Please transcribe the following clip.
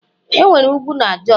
enwere ugwu na Jos